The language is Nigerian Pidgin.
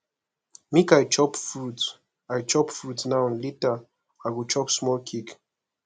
make i chop fruit i chop fruit now later i go chop small cake